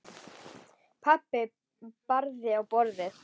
Pabbi barði í borðið.